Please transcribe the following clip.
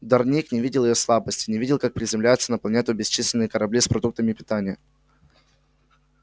дорник не видел её слабостей не видел как приземляются на планету бесчисленные корабли с продуктами питания